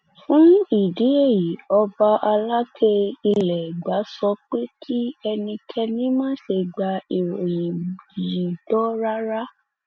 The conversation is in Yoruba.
fún ìdí èyí ọba alákẹ ilẹ ẹgbà sọ pé kí ẹnikẹni má ṣe gba ìròyìn yìí gbọ rárá